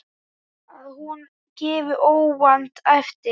Að hún gefi óvænt eftir.